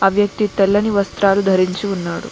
ఆ వ్యక్తి తెల్లని వస్త్రాలు ధరించి ఉన్నాడు.